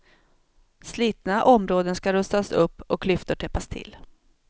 Slitna områden ska rustas upp och klyftor täppas till.